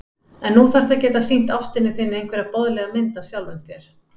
En nú þarftu að geta sýnt ástinni þinni einhverja boðlega mynd af sjálfum þér.